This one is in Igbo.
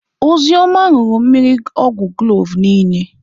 Ozioma ñuru mmiri ogwu kloovu niile.